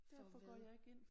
For hvad